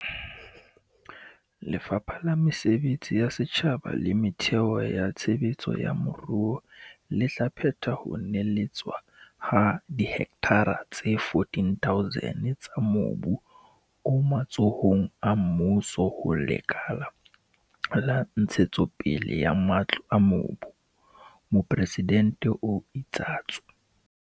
"Lefapha la Mesebetsi ya Setjhaba le Metheo ya Tshe betso ya Moruo le tla phetha ho neheletswa ha dihektara tse 14 000 tsa mobu o matsohong a mmuso ho Lekala la Ntshetsopele ya Matlo a Bodulo," Mopresidente o itsatso.